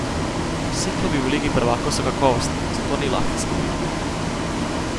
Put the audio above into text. Vsi klubi v ligi prvakov so kakovostni, zato ni lahkih skupin.